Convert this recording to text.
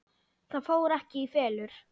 Það fór ekki í felur.